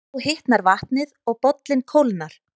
Þá hitnar vatnið og bollinn kólnar.